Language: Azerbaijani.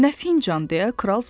Nə fincan deyə kral soruşdu.